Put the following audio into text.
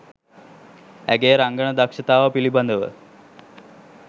ඇගේ රංගන දක්ෂතාව පිළිබඳව